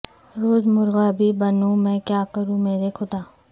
روز مرغا بھی بنوں میں کیا کروں میرے خدا